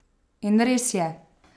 In res je!